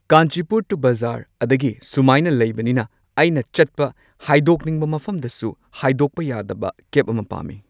ꯀꯥꯟꯆꯤꯄꯨꯔ ꯇꯨ ꯕꯖꯥꯔ ꯑꯗꯒꯤ ꯁꯨꯃꯥꯏꯅ ꯂꯩꯕꯅꯤꯅ ꯑꯩꯅ ꯆꯠꯄ ꯍꯥꯏꯗꯣꯛꯅꯤꯡꯕ ꯃꯐꯝꯗꯁꯨ ꯍꯥꯏꯗꯣꯛꯄ ꯌꯥꯗꯕ ꯀꯦꯕ ꯑꯃ ꯄꯥꯝꯃꯤ꯫